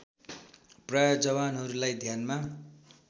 प्राय जवानहरूलाई ध्यानमा